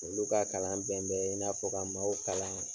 Olu ka kalan bɛn bɛɛ i n'a fɔ ka maaw kalan